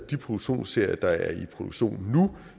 de produktionsserier der er i produktion nu